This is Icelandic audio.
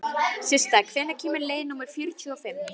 Systa, hvenær kemur leið númer fjörutíu og fimm?